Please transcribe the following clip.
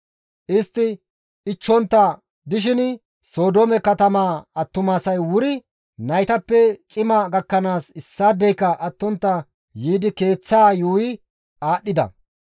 Istti ichchontta dishin Sodoome katamaa attumasay wuri naytappe cima gakkanaas issaadeyka attontta yiidi keeththaa yuuyi aadhdhida.